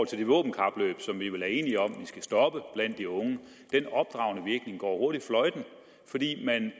til det våbenkapløb som vi vel er enige om at vi skal stoppe blandt de unge hurtigt fløjten fordi der